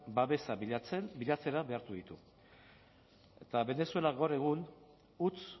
babesa bilatzen bilatzera behartu ditu eta venezuela gaur egun huts